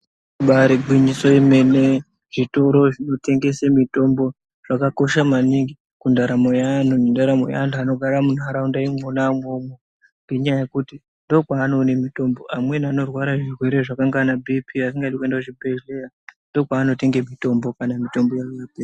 Ibaari gwinyiso yemene, zvitoro zvinotengese mitombo, zvakakosha maningi kundaramo yeanhu , nendaramo yeantu anogara munharaunda imwona imwomwo, ngenyaya yekuti ndokwaanoone mitombo. Amweni anorwara zvirwere zvakanga ana bhiiphi, asingadi kuenda kuzvibhedhleya, ndokwaanotenge mitombo kana mitombo yavo yapera.